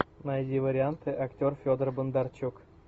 найди варианты актер федор бондарчук